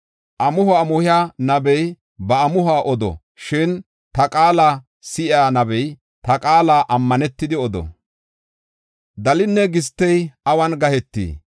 Amuho amuhiya nabey ba amuhuwa odo; shin ta qaala si7iya nabey ta qaala ammanetidi odo. Dalinne gistey awun gahetii?